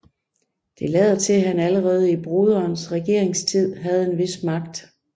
Det lader til at han allerede i broderens regeringstid havde en vis magt